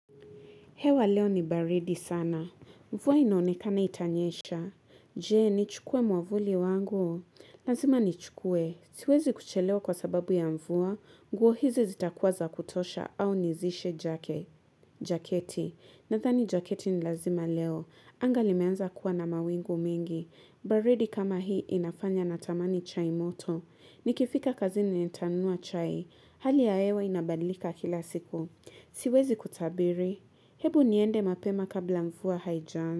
Hewa leo ni baridi sana. Mvua inaonekana itanyesha. Je, ni chukue mwavuli wangu? Lazima ni chukue. Siwezi kuchelewa kwa sababu ya mvua. Nguo hizi zita kuwa za kutosha au nizishe Jaketi. Nadhani jaketi ni lazima leo. Angali meanza kuwa na mawingu mengi. Baridi kama hii inafanya na tamani chai moto. Nikifika kazi ni nitanunua chai. Hali ya hewa inabadilika kila siku. Siwezi kutabiri. Hebu niende mapema kabla mvua haijaanza.